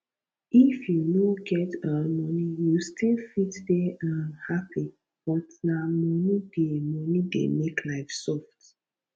if you no get um money you still fit dey um happy but na money dey money dey make life soft